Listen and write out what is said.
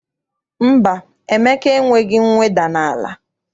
Mba, Emeka enweghị mweda n'ala.